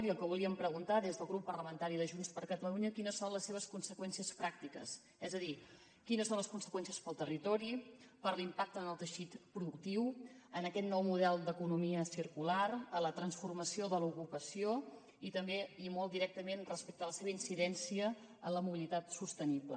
i el que volíem preguntar des del grup parlamentari de junts per catalunya era quines són les seves conseqüències pràctiques és a dir quines són les conseqüències pel territori per l’impacte en el teixit productiu en aquest nou model d’economia circular a la transformació de l’ocupació i també i molt directament respecte a la seva incidència en la mobilitat sostenible